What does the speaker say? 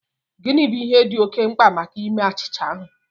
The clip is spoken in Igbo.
Gịnị bụ ihe dị oké mkpa maka ime achịcha ahụ?